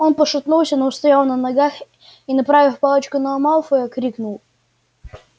он пошатнулся но устоял на ногах и направив палочку на малфоя крикнул